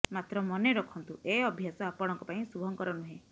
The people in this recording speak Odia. ମାତ୍ର ମନେ ରଖନ୍ତୁ ଏ ଅଭ୍ୟାସ ଆପଣଙ୍କ ପାଇଁ ଶୁଭଙ୍କର ନୁହେଁ